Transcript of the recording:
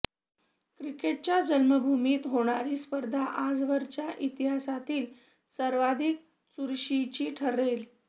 क्रिकेटच्या जन्मभूमीत होणारी स्पर्धा आजवरच्या इतिहासातील सर्वाधिक चुरशीची ठरेल